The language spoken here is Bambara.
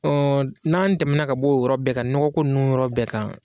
n'an tɛmɛna ka b'o yɔrɔ bɛɛ kan nɔgɔ ko nunnu yɔrɔ bɛɛ kan